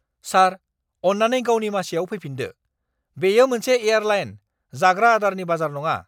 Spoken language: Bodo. सार, अन्नानै गावनि मासिआव फैफिन्दो। बेयो मोनसे एयारलाइन, जाग्रा आदारनि बाजार नङा!